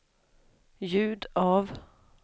ljud av